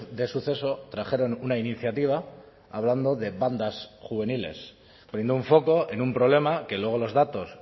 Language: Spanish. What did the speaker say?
de suceso trajeron una iniciativa hablando de bandas juveniles poniendo un foco en un problema que luego los datos